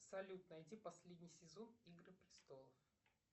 салют найти последний сезон игры престолов